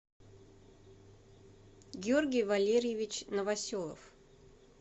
георгий валерьевич новоселов